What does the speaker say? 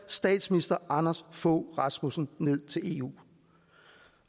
statsminister anders fogh rasmussen ned til eu